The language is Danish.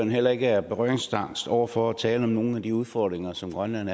heller ikke er berøringsangst over for at tale om nogle af de udfordringer som grønland